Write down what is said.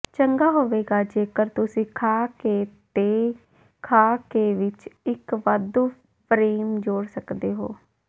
ਚੰਗਾ ਹੋਵੇਗਾ ਜੇਕਰ ਤੁਸੀਂ ਖਾਕੇ ਦੇ ਖਾਕੇ ਵਿੱਚ ਇੱਕ ਵਾਧੂ ਫ੍ਰੇਮ ਜੋੜ ਸਕਦੇ ਹੋ